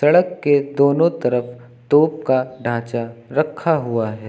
सड़क के दोनों तरफ तोप का ढांचा रखा हुआ है।